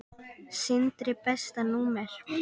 Sindri Besta númer?